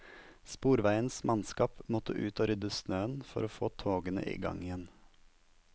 Sporveiens mannskap måtte ut og rydde snøen for å få togene i gang igjen.